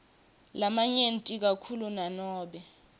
lamanyenti kakhulu nanobe